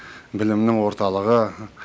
білімнің орталығы